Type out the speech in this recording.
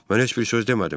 Mən heç bir söz demədim.